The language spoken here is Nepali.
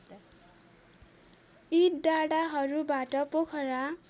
यी डाँडाहरूबाट पोखरा